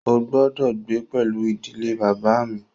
Ó gbọ́dọ̀ gbé pẹlú ìdílé bàbá à mi!